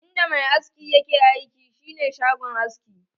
In da mai aski yake aiki shi ne shagon aski.